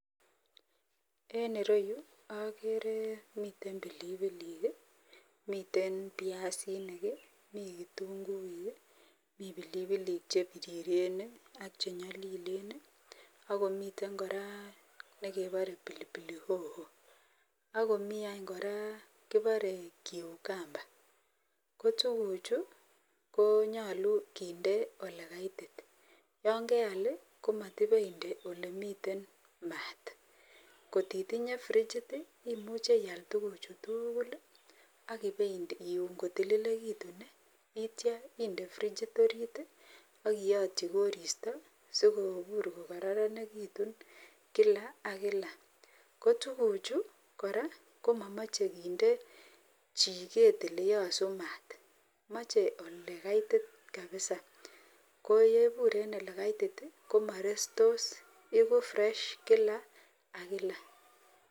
En ireyu agere miten bilibilikmiten biasinik miten kitunguik miten bilibilik chebiriren ak chenyalilen akomiten kora nekebare pilipili hoho akomiany koraa kibare cucumber kotuguk Chu konyalu kende olekaitit yangeyal iwe inde olemiten mat kotinye frigit imuche iyal tuguk Chu tugul akuliun kolililitun itya inde frigit orit akiyatyi koristo sikobit kokararanekitun kila ak kila kotuguk Chu koraa komamache kende chiket oleyasu mat mache olekaitit kabisa koyebur en olekaitit komarestos iko fresh kila ak kila